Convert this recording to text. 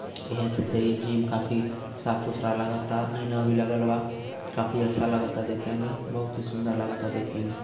यह त जिम काफी साफ - सुथरा लागता ऐना भी लगल बा काफी अच्छा लागता देखेमें बहुत ही सुदर लागता देखेमें।